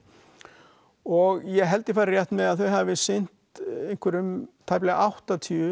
og ég held ég fari rétt með að þau hafi sinnt einhverjum tæplega áttatíu